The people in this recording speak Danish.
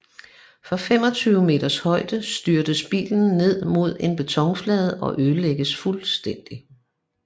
Fra 25 meters højde styrtes bilen ned mod en betonflade og ødelægges fuldstændig